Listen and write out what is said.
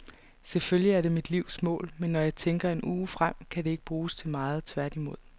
Selvfølgelig er det mit livs mål, men når jeg tænker en uge frem, kan det ikke bruges til meget, tværtimod.